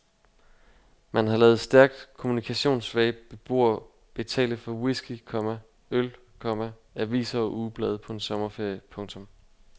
Man har ladet stærkt kommunikationssvage beboere betale for whisky, komma øl, komma aviser og ugeblade på en sommerferie. punktum